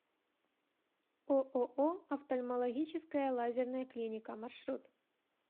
ооо офтальмологическая лазерная клиника маршрут